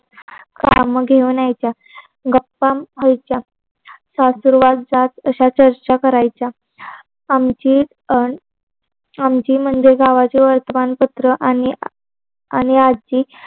काम घेऊन यायच्या. गप्पा व्हायच्या. सासुरवास जात अश्या चर्चा करायच्या. आमची आमची म्हणजे गावाचे वर्तमान पत्र आणि आणि आजी